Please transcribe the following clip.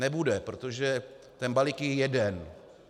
Nebude, protože ten balík je jeden.